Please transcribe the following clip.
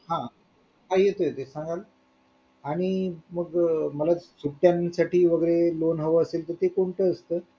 हा येतो येतोय सांगाल आणि मग मला सुट्ट्यांसाठी वगैरे loan हवे असेल तर ते कोणते येतोय